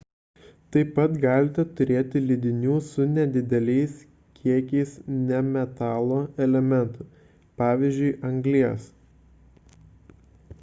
taip pat galite turėti lydinių su nedideliais kiekiais nemetalo elementų pvz. anglies